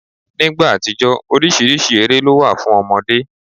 Nígbà àtijó oríṣiríṣi eré ló wà fún ọmọdé.